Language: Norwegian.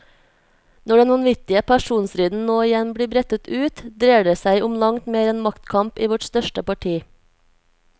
Når den vanvittige personstriden nå igjen blir brettet ut, dreier det som om langt mer enn maktkamp i vårt største parti.